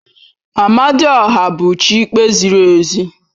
Amadioha bụ chi ikpe ziri ezi